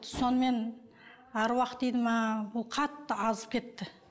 сонымен аруақ дейді ме бұл қатты азып кетті